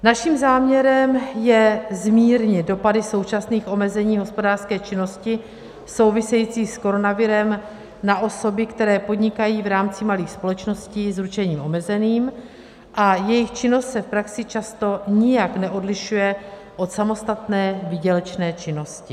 Naším záměrem je zmírnit dopady současných omezení hospodářské činnosti související s koronavirem na osoby, které podnikají v rámci malých společností s ručením omezením a jejichž činnost se v praxi často nijak neodlišuje od samostatné výdělečné činnosti.